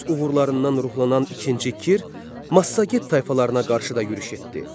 Öz uğurlarından ruhlanan ikinci Kir Massaget tayfalarına qarşı da yürüş etdi.